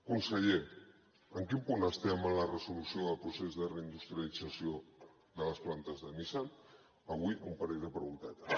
conseller en quin punt estem en la resolució del procés de reindustrialització de les plantes de nissan avui un parell de preguntetes